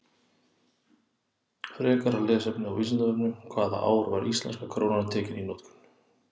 Frekara lesefni á Vísindavefnum: Hvaða ár var íslenska krónan tekin í notkun?